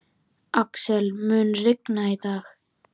Axel, mun rigna í dag?